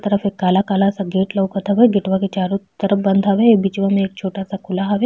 तरफ एक काला काला सा गेट लउकत हवे। गेटवा के चारों तरफ बंद हवे। बीचवा में एक छोटा सा खुला हवे।